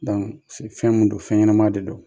f fɛn mun don fɛn ɲɛnama de don.